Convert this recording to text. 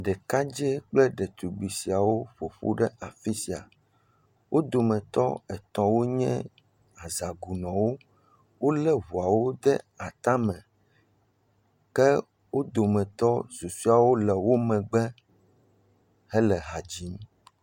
Ɖekadzɛ kple ɖetugbi siawo ƒo ƒu ɖe afi sia. Wo dometɔ etɔ̃ wonye azagunɔwo. Wolé ŋuawo ɖe atame. Ke wo dometɔ susuewo le wo megbe hele ha dzim.